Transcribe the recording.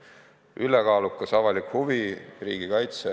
Mängus oli ülekaalukas avalik huvi: riigikaitse.